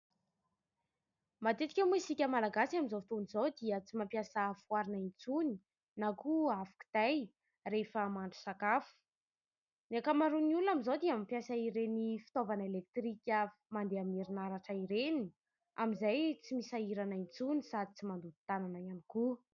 Matetika moa isika Malagasy amin'izao fotoana izao dia tsy mampiasa afo arina intsony na koa afo kitay rehefa mahandro sakafo. Ny ankamaroan'ny olona amin'izao dia mampiasa ireny fitaovana "électrique" mandeha amin'ny herinaratra ireny amin'izay tsy misahirana intsony sady tsy mandoto tanana ihany koa.